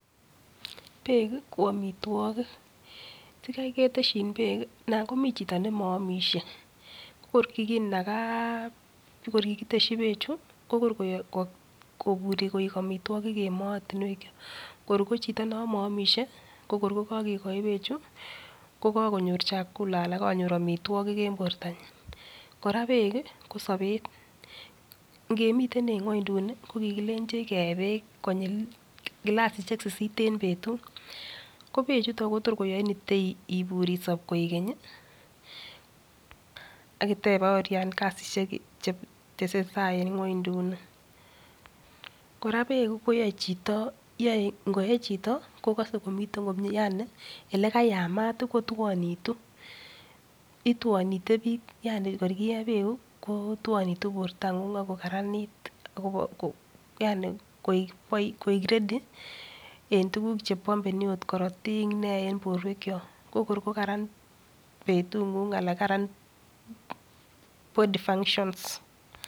Beek ko amitwagik. Sigai keteshin beek, nan komi chito nemaamishei, ko kor nyekinaga beechu kokor koek amitwagik en moet. Kor ko chiti no maamishei, ko kor ko kakekoi beechu kokakonyor chakula anan kakonyor amitwagik eng portanyi. Kora beek, ko sobet, ngemiten en ng'wenduni ko kikilenjech kee beek kilasisiek sisit en betut. Ko beechutok ko tor koyain isop koek keny. Akitebaorian kasisiek chetesetai eng ng'wenduni. kora beek koyaei ngoe chito kokasei komiten komie yani elekayamat kotuonitu. Ituonitei biik, yani kor kie beek, kotuonitu porta ng'ung ako karanit yani yani koek ready en tukut chepanbeni ako korotik, nee, en porwek chok. Ko kor koran betung'ung anan karan body functions.